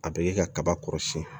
A bɛ ka kaba kɔrɔsiyɛn